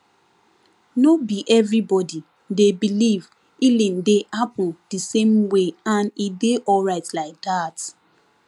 no be everybody dey believe healing dey happen the same wayand e dey alright like that